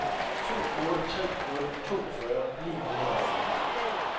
to otte tre nul toogfyrre ni hundrede og fire